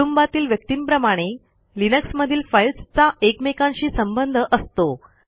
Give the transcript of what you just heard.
कुटुंबातील व्यक्तींप्रमाणे लिनक्समधील फाईलस् चा एकमेकांशी संबंध असतो